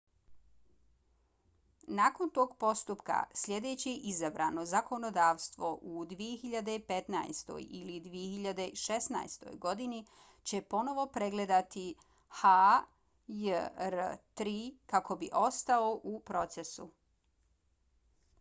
nakon tog postupka sljedeće izabrano zakonodavstvo u 2015. ili 2016. godini će ponovo pregledati hjr-3 kako bi ostao u procesu